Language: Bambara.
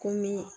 Komi